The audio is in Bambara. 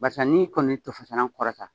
Barisa n'i kɔni tofasanan kɔrɔta